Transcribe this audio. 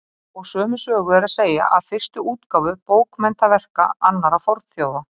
Og sömu sögu er að segja af fyrstu útgáfu bókmenntaverka annarra fornþjóða.